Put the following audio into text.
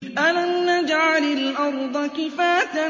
أَلَمْ نَجْعَلِ الْأَرْضَ كِفَاتًا